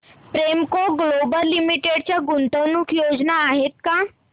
Premco global limited च्या गुंतवणूक योजना आहेत का